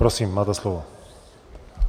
Prosím, máte slovo.